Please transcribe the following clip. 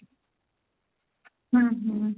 hm hm